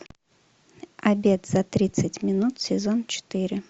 обед за тридцать минут сезон четыре